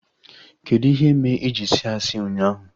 Kedụ ihe mee iji sị asị ụnyaahụ?